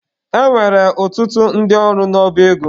E nwekwara ọtụtụ ndị ọrụ n'ọba ego.